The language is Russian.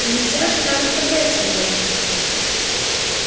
нельзя же там оставлять её